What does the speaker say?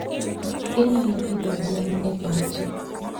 Inyalo pidho gwen e pacho.